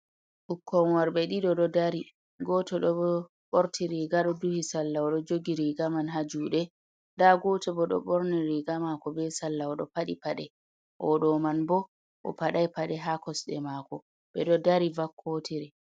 Ɓukkon worbe ɓe ɗiɗo ɗo dari. Goto ɗo borti riga ɗo duhi salla, ɗo jogi riga man ha juɗe. Nda goto bo ɗo borni riga mako be salla o ɗo faɗi paɗe o ɗo man bo o fadai pade ha kosɗe mako ɓe ɗo dari vakkotiri.